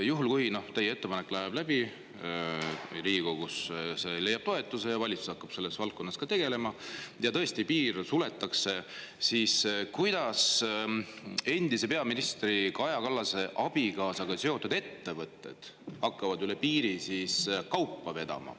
Juhul, kui teie ettepanek läheb läbi Riigikogus, see leiab toetuse ja valitsus hakkab selles valdkonnas tegelema ja tõesti piir suletakse, siis kuidas endise peaministri Kaja Kallase abikaasaga seotud ettevõtted hakkavad üle piiri kaupa vedama?